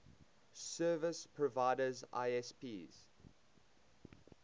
service providers isps